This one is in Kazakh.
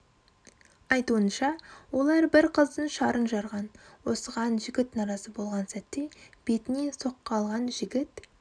айтуынша олар бір қыздың шарын жарған осыған жігіт наразы болған сәтте бетінен соққы алған жігіт